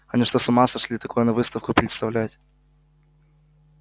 они что с ума сошли такое на выставку представлять